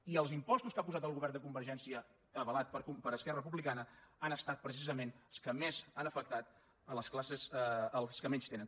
i els impostos que ha posat el govern de convergència avalat per esquerra republicana han estat precisament els que més han afectat les classes els que menys tenen